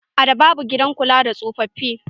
A da babu gidan kula da tsofafi.